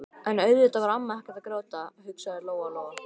En auðvitað var amma ekkert að gráta, hugsaði Lóa Lóa.